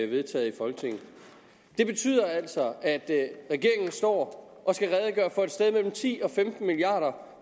vedtaget i folketinget det betyder altså at regeringen står og skal redegøre for et sted mellem ti og femten milliard